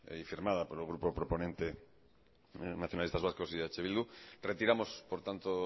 y firmada por el grupo proponente nacionalistas vascos y eh bildu retiramos por tanto